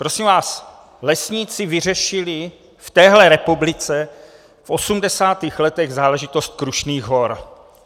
Prosím vás, lesníci vyřešili v téhle republice v 80. letech záležitost Krušných hor.